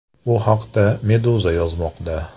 Bu haqda Meduza yozmoqda .